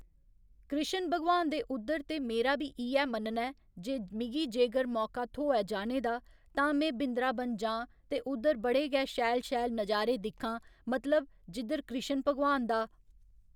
कृश्ण भगवान दे उद्धर ते मेरा बी इ'यै मानना ऐ जे मिगी जेगर मौका थ्होऐ जाने दा ते में बिंद्राबन जा्ं ते उद्धर बड़े गै शैल शैल नजारे दिक्खां मतलब जिद्धर कृश्ण भगवान दा